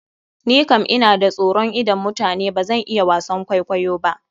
Ni kan ina da soron idon mutane, bazan iya wasan kwaikwayo ba.